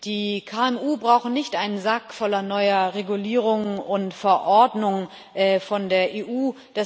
Die KMU brauchen nicht einen Sack voller neuer Regulierungen und Verordnungen von der EU.